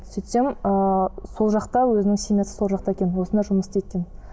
сөйтсем ыыы сол жақта өзінің семьясы сол жақта екен осында жұмыс істейді екен